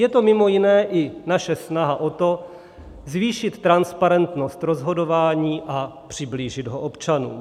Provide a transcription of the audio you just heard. Je to mimo jiné i naše snaha o to zvýšit transparentnost rozhodování a přiblížit ho občanům.